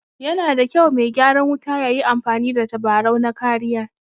Yana da kyau me gyaran wuta yayi amfani da tabarau na kariya